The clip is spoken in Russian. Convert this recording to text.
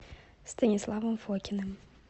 станиславом фокиным